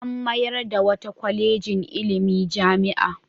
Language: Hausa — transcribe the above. An mayar da wata kwalejin ilimi jami'a.